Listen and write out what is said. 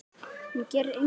Hún gerir engum gott.